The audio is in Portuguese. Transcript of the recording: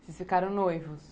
Vocês ficaram noivos?